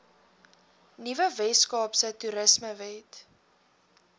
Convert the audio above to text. nuwe weskaapse toerismewet